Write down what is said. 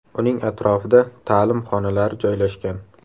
Uning atrofida ta’lim xonalari joylashgan.